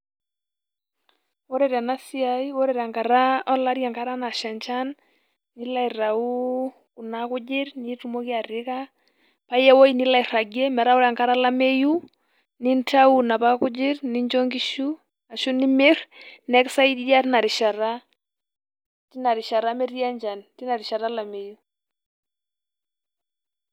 ore tena siasi enkata nasha enchan nilo aitayu kuna kujit nitumoki ka pa iya ewuei nilo airagie ,ore enkata olameyu ,nintayu inapa kujit nincho inkishu ashu nimir ne ekisaidia tina rishata metii enchan tina rishata olameyu.